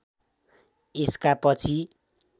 यसका पछि